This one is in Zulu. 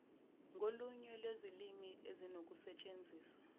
ngolunye lwezilimi ezinokusetshenziswa